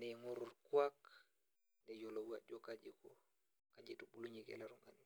neigori orkuak neyiolou ajo kaji eitubulunyeki ele tungani.